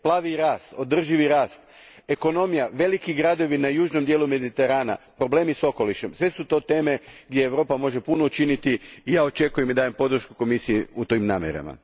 Pravi rast, održivi rast, ekonomija, veliki gradovi na južnom dijelu Mediterana, problemi s okolišem, sve su to teme gdje Europa može puno učiniti i ja očekujem i dajem podršku Komisiji u tim namjerama.